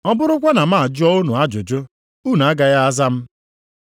Ọ bụrụkwa na m ajụọ unu ajụjụ, unu agaghị aza m.